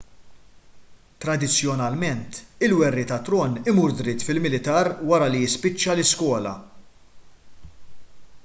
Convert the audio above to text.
tradizzjonalment il-werriet għat-tron imur dritt fil-militar wara li jispiċċa l-iskola